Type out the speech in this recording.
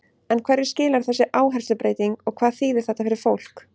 En hverju skilar þessi áherslubreyting og hvað þýðir þetta fyrir fólk?